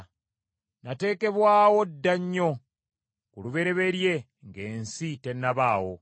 Nateekebwawo dda nnyo, ku lubereberye ng’ensi tennabaawo.